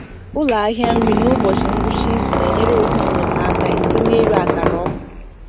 Ụlọ ahịa nri n’ụbọchị ngwụcha izu na-enyere ezinụlọ ha aka site n’ịre akara ọkụ.